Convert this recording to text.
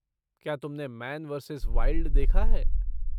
क्या तुमने man versus wild देखा है?